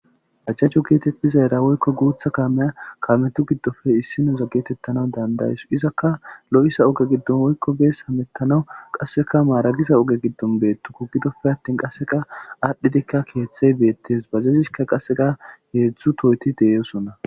Bajajo gettetizara woykko guuththa kaameya kaametu giddoppe issiniyo gettetanawu dandayiyawus izakka oogw godo hemetanaw bees qaseakka maragiza ooge giddon bettukku giddoppe attin qasekka adhidikka.keththey beettes bajajeyissikka qasekka hedzdzu tohotti de'ossonna